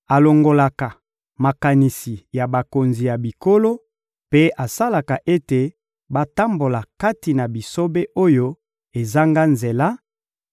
alongolaka makanisi ya bakonzi ya bikolo mpe asalaka ete batambola kati na bisobe oyo ezanga nzela